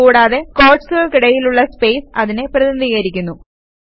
കൂടാതെ ക്വോട്ട്സുകൾക്കിടയിലുള്ള സ്പേസ് അതിനെ പ്രതിനിധീകരിക്കുന്നു